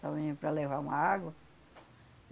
Só vinha para levar uma água.